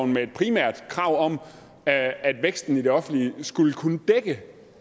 med et primært krav om at væksten i det offentlige skulle kunne dække